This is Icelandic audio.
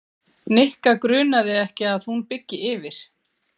Nikka grunaði ekki að hún byggi yfir.